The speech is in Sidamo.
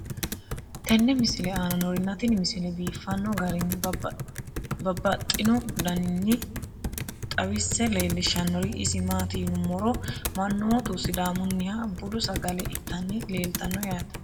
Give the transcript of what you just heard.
tenne misile aana noorina tini misile biiffanno garinni babaxxinno daniinni xawisse leelishanori isi maati yinummoro manoottu sidaamunniha buddu sagale ittanni leelattanno yaatte